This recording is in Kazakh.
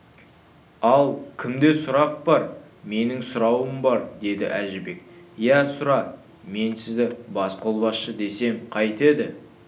ал кімде сұрақ бар менің сұрауым бар деді әжібек иә сұра мен сізді басқолбасшы десем қайтеді